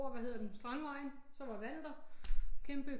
Over hvad hedder den Strandvejen så var vandet der kæmpe